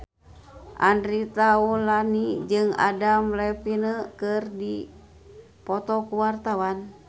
Andre Taulany jeung Adam Levine keur dipoto ku wartawan